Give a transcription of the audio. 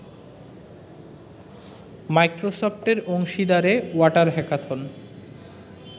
মাইক্রোসফটের অংশীদারে water hackathon